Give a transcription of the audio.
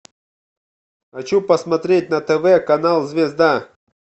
хочу посмотреть на тв канал звезда